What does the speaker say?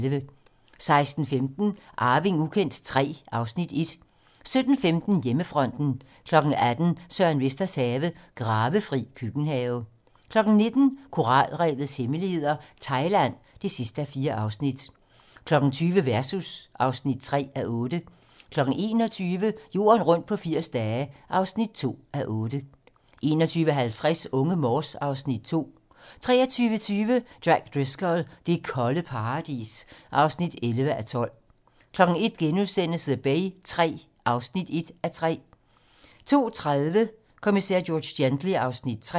16:15: Arving ukendt III (Afs. 1) 17:15: Hjemmefronten 18:00: Søren Vesters have - Gravefri køkkenhave 19:00: Koralrevets hemmeligheder - Thailand (4:4) 20:00: Versus (3:8) 21:00: Jorden rundt på 80 dage (2:8) 21:50: Unge Morse (Afs. 2) 23:20: Jack Driscoll - det kolde paradis (11:12) 01:00: The Bay III (1:3)* 02:30: Kommissær George Gently (Afs. 3)